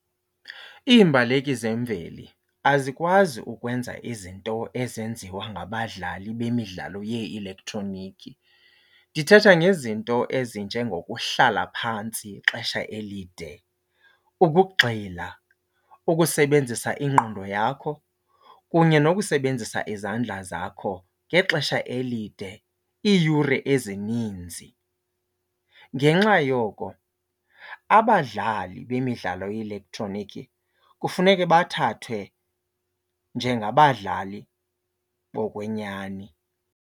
Iimbaleki zemveli azikwazi ukwenza izinto ezenziwa ngabadlali bemidlalo yee-elektroniki. Ndithetha ngezinto ezinjengokuhlala phantsi ixesha elide, ukugxila, ukusebenzisa ingqondo yakho kunye nokusebenzisa izandla zakho ngexesha elide iiyure ezininzi. Ngenxa yoko abadlali bemidlalo ye-elektroniki kufuneke bathathwe njengabadlali bokwenyani.